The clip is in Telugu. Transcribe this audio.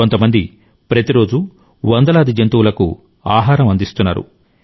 కొంతమంది ప్రతిరోజూ వందలాది జంతువులకు ఆహారం అందిస్తున్నారు